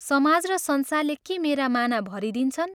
समाज र संसारले के मेरा माना भरिदिन्छन्?